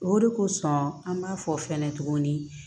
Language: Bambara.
O de kosɔn an b'a fɔ fɛnɛ tuguni